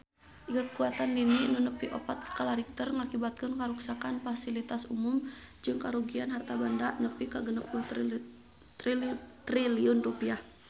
Kakuatan lini nu nepi opat skala Richter ngakibatkeun karuksakan pasilitas umum jeung karugian harta banda nepi ka 60 triliun rupiah